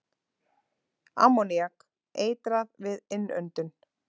Ammoníak- Eitrað við innöndun.